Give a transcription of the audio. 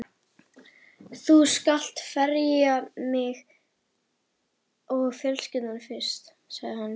Þú skalt ferja mig og fjölskylduna fyrst, sagði hann.